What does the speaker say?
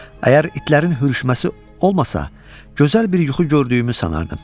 Əgər itlərin hürüşməsi olmasa, gözəl bir yuxu gördüyümü sanardım.